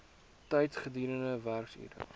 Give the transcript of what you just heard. tyd gedurende werksure